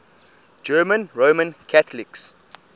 german roman catholics